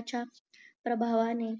च्या प्रभावाने